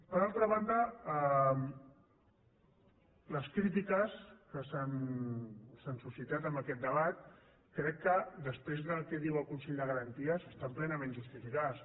per altra banda les crítiques que s’han suscitat en aquest debat crec que després del que diu el consell de garanties estan plenament justificades